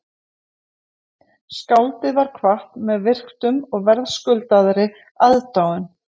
Skáldið var kvatt með virktum og verðskuldaðri aðdáun